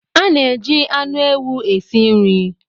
A na-eji anụ ewu esi nri.